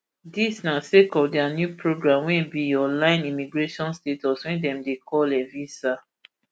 dis na sake of dia new programme wey be online immigration status wey dem dey call evisa